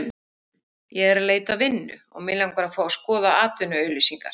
Ég er að leita að vinnu og mig langar að fá að skoða atvinnuauglýsingarnar